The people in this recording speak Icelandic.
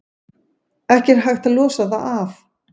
Ekki er hægt að losa það af.